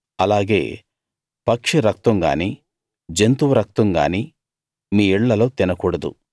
అలాగే పక్షి రక్తం గానీ జంతువు రక్తం గానీ మీ ఇళ్ళల్లో తినకూడదు